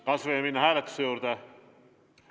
Kas võime minna hääletuse juurde?